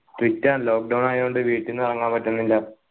strict ആ lockdown ആയോണ്ട് വീട്ടീന്ന് ഇറങ്ങാൻ പറ്റിന്നില്ല